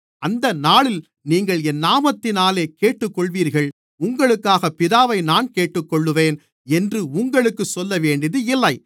அந்த நாளில் நீங்கள் என் நாமத்தினாலே கேட்டுக்கொள்ளுவீர்கள் உங்களுக்காகப் பிதாவை நான் கேட்டுக்கொள்ளுவேன் என்று உங்களுக்குச் சொல்லவேண்டியதில்லை